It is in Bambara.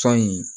Sɔn nin